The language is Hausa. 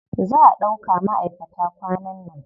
Za a ɗauka maʼaikata kwanan nan.